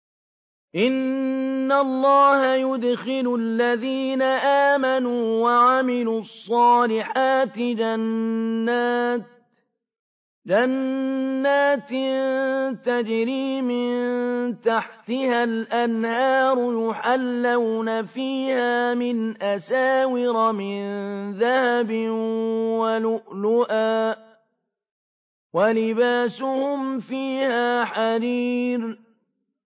إِنَّ اللَّهَ يُدْخِلُ الَّذِينَ آمَنُوا وَعَمِلُوا الصَّالِحَاتِ جَنَّاتٍ تَجْرِي مِن تَحْتِهَا الْأَنْهَارُ يُحَلَّوْنَ فِيهَا مِنْ أَسَاوِرَ مِن ذَهَبٍ وَلُؤْلُؤًا ۖ وَلِبَاسُهُمْ فِيهَا حَرِيرٌ